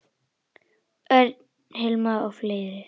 Hilmar Örn og fleiri.